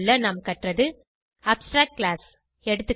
நாம் கற்றது abstract class எகா